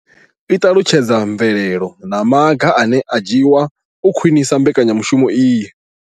I ṱalutshedza mvelelo na maga ane a nga dzhiwa u khwinisa mbekanya mushumo iyi.